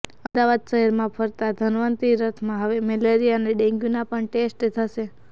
અમદાવાદઃ શહેરમાં ફરતા ધન્વંતરી રથમાં હવે મેલેરિયા અને ડેન્ગ્યુના પણ ટેસ્ટ થશે